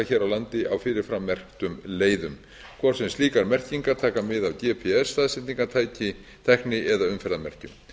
hér á landi á fyrirframmerktum leiðum hvort sem slíkar merkingar taka mið af gps staðsetningartækni eða umferðarmerkjum